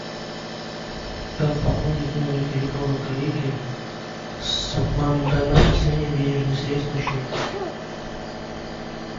как пополнить номер телефона коллеги с моментальным зачислением денежных средств на счет